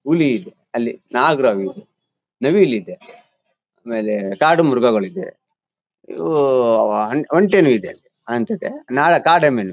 ಹುಲಿ ಇದೆ ಅಲ್ಲಿ. ನಾಗರಹಾವು ಇದೆ. ನವಿಲ್ ಇದೆ ಆಮೇಲೆ ಕಾಡು ಮೃಗಗಳಿವೆ ಇವು. ಒಂಟೇನು ಇದೆ ಅನ್ಸುತ್ತೆ. ನಾಲ್ ಕಾಡೆಮ್ಮೆ ನು ಇದೆ.